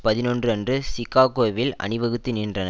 பதினொன்று அன்று சிகாகோவில் அணிவகுத்து நின்றன